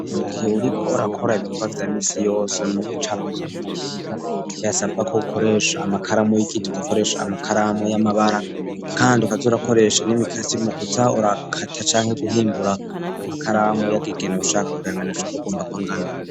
Mu gihe uriko urakora ibikorwa vyamisi yose mu gucapa canke mu kwiga birasabwa ko ukoresha amakaramu y'igiti ukakoresha amakaramu y'amabara ,kandi ukaz'urakoresha n'imikasi mukuza urakata canke guhimbura amakaramu uyagegena ushaka kuyanganisha uk'ugomba kwangana.